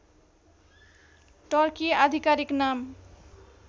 Turkey आधिकारीक नाम